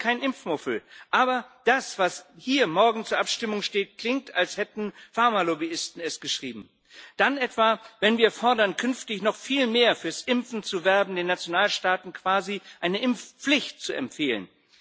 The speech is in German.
Ich bin kein Impfmuffel, aber das, was morgen hier zur Abstimmung steht, klingt, als hätten es Pharmalobbyisten geschrieben dann etwa, wenn wir fordern, künftig noch viel mehr für das Impfen zu werben, den Nationalstaaten quasi eine Impfpflicht zu empfehlen.